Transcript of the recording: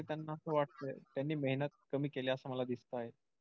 त्याना असं वाटतंय त्यांनी मेहनत कमी केली असं मला दिसतंय.